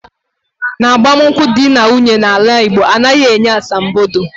N'agbamunkwu dị na nwunye na ala Igbo, anaghị enye asambodo